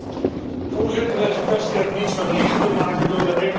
Deze kwestie heeft niets met liegen te maken door de een of de ander.